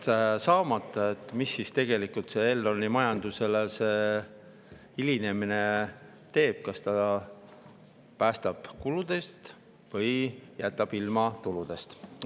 Mis see hilinemine siis tegelikult Elroni majandamisele teeb: kas see päästab kuludest või jätab ilma tuludest?